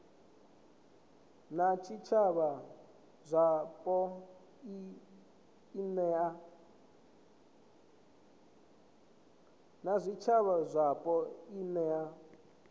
na zwitshavha zwapo i nea